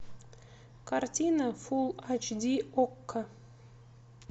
картина фулл айч ди окко